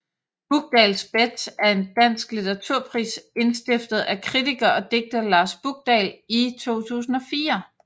Bukdahls Bet er en dansk litteraturpris indstiftet af kritiker og digter Lars Bukdahl i 2004